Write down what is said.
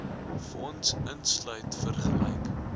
fonds insluit vergelyk